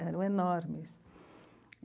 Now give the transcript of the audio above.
Eram enormes.